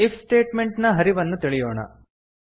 if statement ನ ಹರಿವನ್ನು ತಿಳಿಯೋಣ